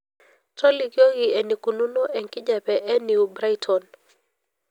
tolikioki enikununo enkijape ee new brighton pa